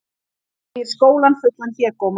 Segir skólann fullan hégóma